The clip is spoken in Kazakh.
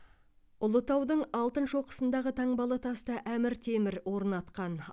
ұлытаудың алтын шоқысындағы таңбалы тасты әмір темір орнатқан